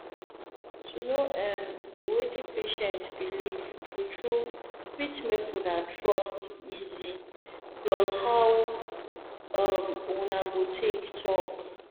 to know erm wetin patient believe true true fit make una trust easy plus how um una go take talk